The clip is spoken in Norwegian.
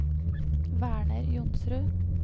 Werner Johnsrud